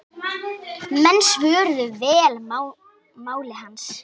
Menn svöruðu vel máli hans.